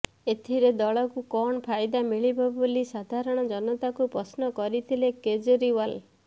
ଏଥିରେ ଦଳକୁ କଣ ଫାଇଦା ମିଳିବ ବୋଲି ସାଧାରଣ ଜନତାଙ୍କୁ ପ୍ରଶ୍ନ କରିଥିଲେ କେଜରିୱାଲ